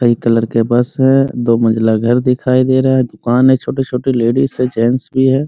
कई कलर के बस है दो मंजीला घर दिखाई दे रहा है | दुकान है छोटे-छोटे लेडीज हैंजेंट्स भी है ।